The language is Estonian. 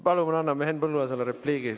Palun anname Henn Põlluaasale repliigi.